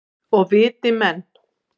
Og viti menn.